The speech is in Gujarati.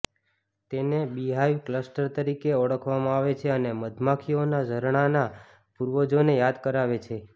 તેને બીહાઇવ ક્લસ્ટર તરીકે ઓળખવામાં આવે છે અને મધમાખીઓના ઝરણાંના પૂર્વજોને યાદ કરાવે છે